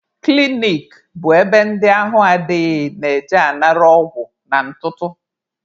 Klinik bụ ebe ndị ahụ adịghị na-eje anara ọgwụ na ntụtụ.